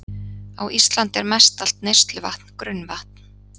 Á Íslandi er mestallt neysluvatn grunnvatn.